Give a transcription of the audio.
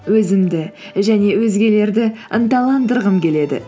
өзімді және өзгелерді ынталандырғым келеді